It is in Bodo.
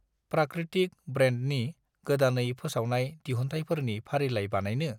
प्राकृतिक ब्रेन्डनि गोदानै फोसावनाय दिहुनथाइफोरनि फारिलाय बानायनो?